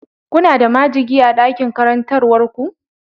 Kuna da majigi a dakin karantarwar ku?